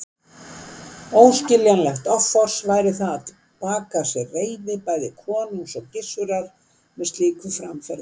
Óskiljanlegt offors væri það að baka sér reiði bæði konungs og Gizurar með slíku framferði.